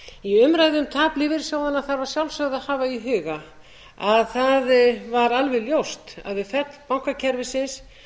í umræðu um tap lífeyrissjóðanna þarf að sjálfsögðu að hafa í huga að það var alveg ljóst að við fall bankakerfisins